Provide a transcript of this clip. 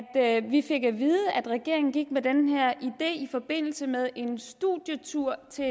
at vi fik at vide at regeringen gik med den her idé i forbindelse med en studietur til